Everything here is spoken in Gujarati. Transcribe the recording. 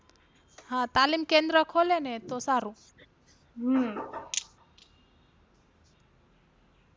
હા તાલીમ કેન્દ્ર ખોલે ને તો સારું હમ